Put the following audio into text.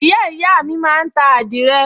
ìyáàyá mi máa ń ta àdìrẹ